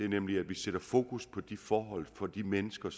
nemlig at vi sætter fokus på de forhold for de mennesker